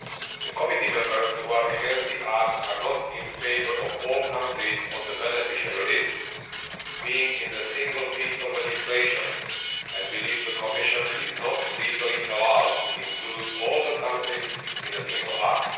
The committee members who are against the act are not in favour of all countries on the beneficial list being in a single piece of legislation, and they believe that the Commission is not legally allowed to include all the countries in the single act.